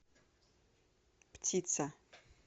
птица